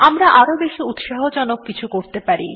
আমরা আরও বেশি উৎসাহজনক কিছু করতে পারি